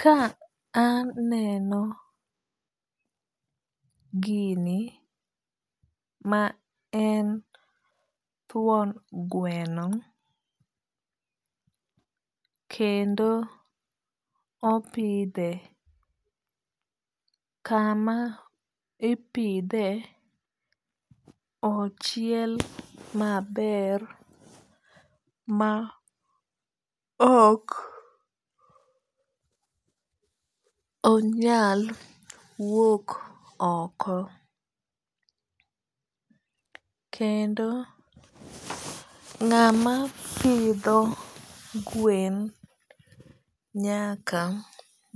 Ka aneno gini ma en thuon gweno, kendo opidhe. Kama ipidhe ochiel maber ma ok onyal wuok oko. Kendo ng'ama pidho gwen nyaka